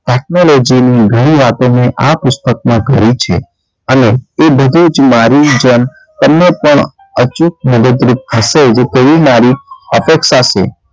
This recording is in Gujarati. technology ઘણી વાતો મેં આ પુસ્તકમાં કરી છે અને એ બધી જ મારી જન તમને પણ અચૂક મદદરૂપ થશે તેવી મારી અપેક્ષા છે.